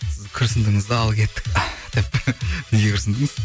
сіз күрсіндіңіз де ал кеттік деп неге күрсіндіңіз